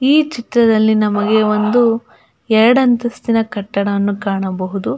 ಈ ಚಿತ್ರದಲ್ಲಿ ನಮಗೆ ಒಂದು ಎರಡಂತಸ್ತಿನ ಕಟ್ಟಡವನ್ನು ಕಾಣಬಹುದು.